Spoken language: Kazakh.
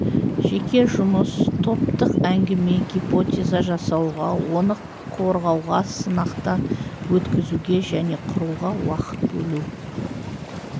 жеке жұмыс топтық әңгіме гипотеза жасауға оны қорғауға сынақтан өткізуге және құруға уақыт бөлу